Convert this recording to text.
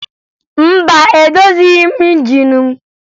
Mba, edozighi m injin mụ